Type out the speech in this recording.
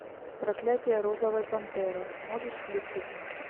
проклятие розовой пантеры можешь включить